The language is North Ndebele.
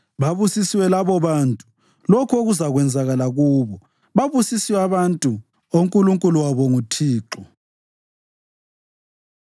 Babusisiwe labobantu lokhu okuzakwenzakala kubo; babusisiwe abantu oNkulunkulu wabo ngu Thixo.